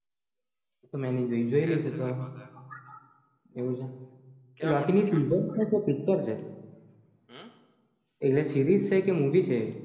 તો મે નહિ જોઈ જોઈલી હસે તો આવું છે એ loki ની series છે કે picture છે એટલે series છે કે movie છે